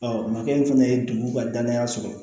makɛ in fana ye dugu ka danaya sɔrɔ